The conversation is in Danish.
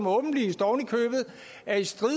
åbenlyst er i strid